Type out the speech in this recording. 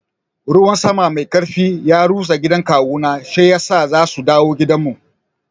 Ruwan sama mai karfi ya rusa gidan kawuna shiyasa za su dawo gidanmu.